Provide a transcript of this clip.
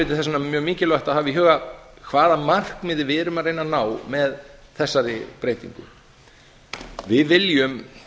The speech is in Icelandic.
vegna mjög mikilvægt að hafa í huga hvaða markmiði við erum að reyna að ná með þessari breytingu við viljum